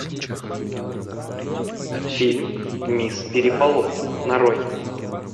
фильм мисс переполох нарой